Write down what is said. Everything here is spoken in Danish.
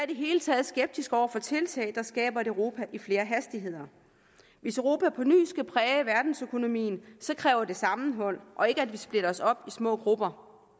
det hele taget skeptiske over for tiltag der skaber et europa i flere hastigheder hvis europa på ny skal præge verdensøkonomien kræver det sammenhold og ikke at vi splitter os op i små grupper